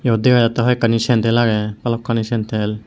iyot dega jatte hoi ekkani sandle age bhalokkani sandle.